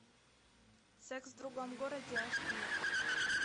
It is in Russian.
секс в другом городе аш ди